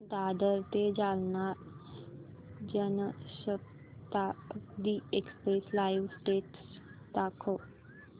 दादर ते Jalna Janshatabdi express live status दाखव